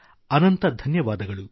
ಅನಂತ ಧನ್ಯವಾದಗಳು